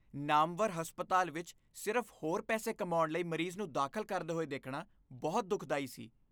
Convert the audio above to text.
ਨਾਮਵਰ ਹਸਪਤਾਲ ਵਿਚ ਸਿਰਫ਼ ਹੋਰ ਪੈਸੇ ਕਮਾਉਣ ਲਈ ਮਰੀਜ਼ ਨੂੰ ਦਾਖ਼ਲ ਕਰਦੇ ਹੋਏ ਦੇਖਣਾ ਬਹੁਤ ਦੁਖਦਾਈ ਸੀ।